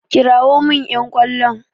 Kirawo min ƴan ƙwallon!